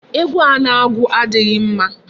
Egwu a na-agụ adịghị mma.